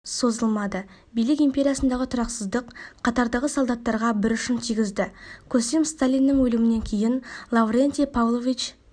созылмады билік империясындағы тұрақсыздық қатардағы солдаттарға бір ұшын тигізді көсем сталиннің өлімінен кейін лаврентий павлович